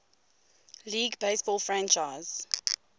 league baseball franchise